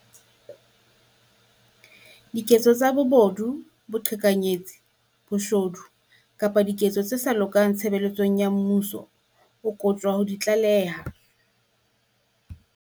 Diketso tsa bobodu, boqhekanyetsi, boshodu kapa diketso tse sa lokang tshebeletsong ya mmuso, o kopuwa ho di tlaleha.